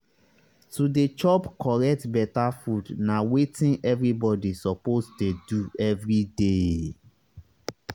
to dey chop correct beta food na wetin everybody suppose dey do everyday.